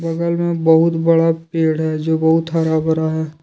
बगल बहुत बड़ा पेड़ है जो बहुत हरा भरा है।